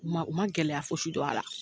U ma ,u ma gɛlɛya fosi dɔn a la.